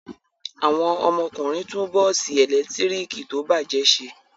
Àwọn ọmọkùnrin tún bọ́ọ́sì ẹ̀lẹ́tíríkì tó bàjẹ́ ṣe.